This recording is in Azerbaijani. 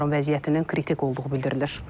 Onların vəziyyətinin kritik olduğu bildirilir.